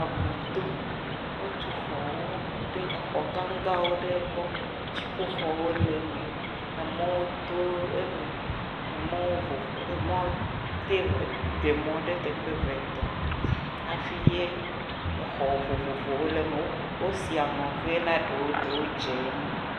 Aƒu to o tu xɔwo ɖe, exɔ gã gã wo ɖe gbɔ, dziƒo xɔwo le me, emɔwo to eme, emɔwo vovo, ɖe mɔ ɖe teƒe eve etɔ̃, hafi ye exɔ vovovowo le me, o si aŋɔ ɣee na ɖowo, ɖowo dzeŋ.